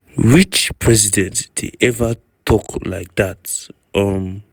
"which president dey ever tok like dat? um